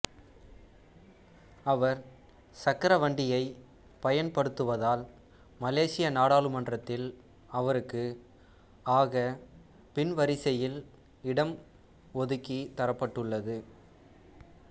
அவர் சக்கரவண்டியைப் பயன்படுத்துவதால் மலேசிய நாடாளுமன்றத்தில் அவருக்கு ஆகப் பின்வரிசையில் இடம் ஒதுக்கித் தரப்பட்டுள்ளது